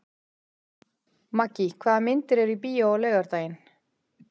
Maggý, hvaða myndir eru í bíó á laugardaginn?